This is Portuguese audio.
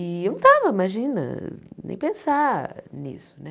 E eu não estava, imagina, nem pensar nisso, né?